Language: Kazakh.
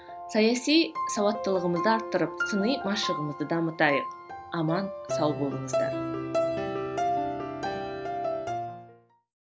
саяси сауаттылығымызды арттырып сыни машығымызды дамытайық аман сау болыңыздар